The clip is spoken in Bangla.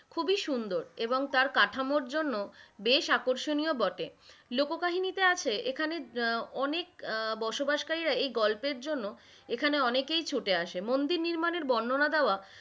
খুবই সুন্দর, এবং তার কাঠামোর জন্য বেশ আকর্ষণীয় ও বটে, লোককাহিনী তে আছে এখানে আহ অনেক আহ বসবাসকারীরা এই গল্পের জন্য, এখানে অনেকেই ছুটে আসে, মন্দির নির্মাণ এর বর্ণনা দেওয়া,